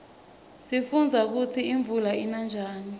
sifundza kutsi imvula ina njani